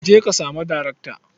Je ka sami daraktan.